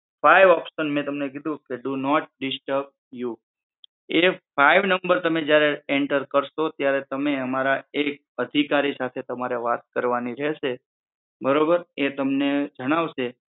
Five option મેં તમને કીધું કે ડુ નોટ ડિસ્ટર્બ યુ. એ ફાઈવ નમ્બર તમે જયારે એન્ટર કરશો ત્યારે તમે અમારા એક અધિકારી સાથે તમારે વાત કરવાની રહેશે બરોબર એ તમને જણાવશે